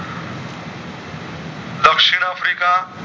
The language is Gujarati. આફ્રિકા